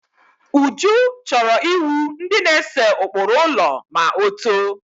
Uju chọrọ iwu ndi na-ese ụkpụrụ ụlọ ma otoo